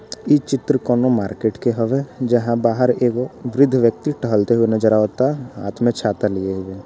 इ चित्र कोनो मार्केट के हवे जहां बाहर एगो वृद्ध व्यक्ति टहलते हुए नजर आवाता हाथ में छाता लिए हुए।